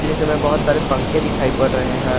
इसमें बहुत सारे पंखे दिखाई पड़ रहे हैं।